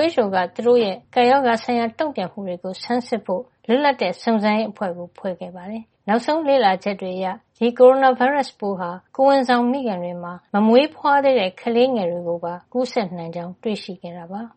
WHO သူတို့ရဲ့ ကပ်ရောဂါဆိုင်ရာ တုန့်ပြန်မှုတွေကို ဆန်းစစ်ဖို့ လွတ်လပ်တဲ့ စုံစမ်းစစ်ဆေးရေးအဖွဲ့ ဖွဲ့ခဲ့ပါတယ်။ နောက်ဆုံးလေ့လာချက်တွေ အရ ဒီ ကိုရိုနာဗိုင်းရပ်စ်ပိုး ဟာ ကိုယ်ဝန်ဆောင် မိခင်တွေမှာ မမွေးဖွားသေးတဲ့ ကလေးငယ်ကို ကူးစက်နိုင်ကြောင်း တွေ့ရှိခဲ့တာပါ။